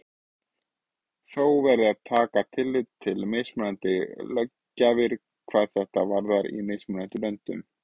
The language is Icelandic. Þó verði að taka tillit til mismunandi löggjafar hvað þetta varðar í mismunandi löndum.